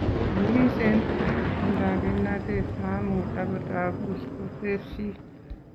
"kii chenyikiseen ak chetindo kimnatet mamuuch akot abuus ",kotesyi.